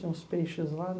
Tem uns peixes lá.